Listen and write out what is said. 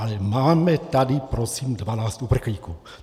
Ale máme tady prosím 12 uprchlíků.